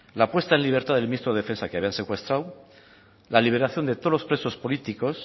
la puesta en libertad del ministro de defensa que habían secuestrado la liberación de todos los presos políticos